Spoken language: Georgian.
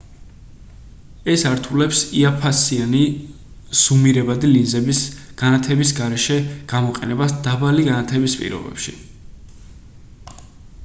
ეს ართულებს იაფფასიანი ზუმირებადი ლინზების განათების გარეშე გამოყენებას დაბალი განათების პირობებში